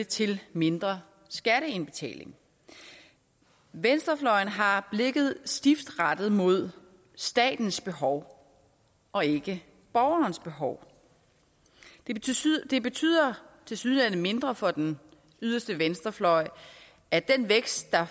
til mindre skatteindbetaling venstrefløjen har blikket stift rettet mod statens behov og ikke borgerens behov det betyder tilsyneladende mindre for den yderste venstrefløj at den vækst der